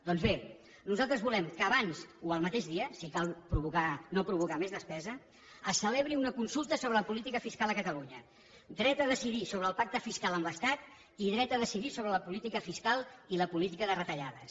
doncs bé nosaltres volem que abans o el mateix dia si cal no provocar més despesa se celebri una consulta sobre la política fiscal a catalunya dret a decidir sobre el pacte fiscal amb l’estat i dret a decidir sobre la política fiscal i la política de retallades